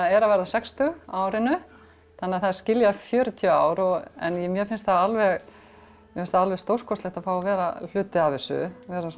er að verða sextug á árinu þannig að það skilja fjörutíu ár en mér finnst alveg finnst alveg stórkostlegt að fá að vera hluti af þessu